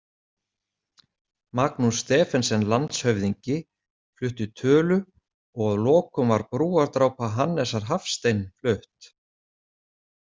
Magnús Stephensen landshöfðingi flutti tölu og að lokum var Brúardrápa Hannesar Hafstein flutt.